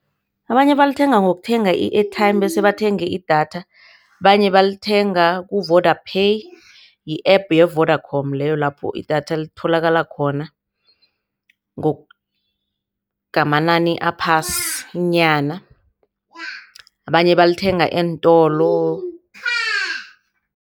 Abanye balithenga ngokuthenga i-airtime bese bathenge idatha. Abanye balithenga ku-Vodapay yi-App ye-Vodacom leyo lapho idatha litholakala khona ngamanani aphasinyana. Abanye balithenga eentolo.